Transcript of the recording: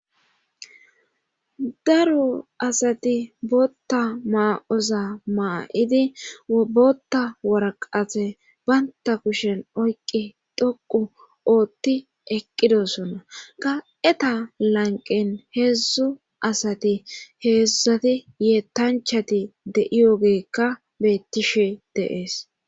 Daro asati bootta maa7oza maa7idi wobota warqate baynta kushen oyqi dhoqu ootti eqqidosonna ga7eta lanqen heedzdzu asati heedzdzati yeetanchati de7iyogeekka beettishe deees.